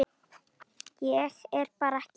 Ég er bara ekki viss.